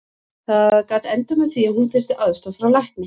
Það gat endað með því að hún þyrfti aðstoð frá lækni.